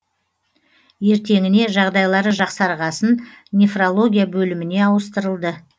ертеңіне жағдайлары жақсарғасын нефрология бөліміне ауыстырылды